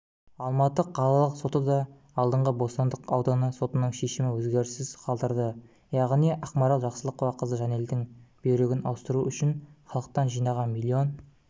алматы қалалық сотыда алдыңғы бостандық ауданы сотының шешімі өзгеріссіз қалдырды яғни ақмарал жақсылықова қызы жанелдің бүйрегін ауыстыру үшін халықтан жинаған миллион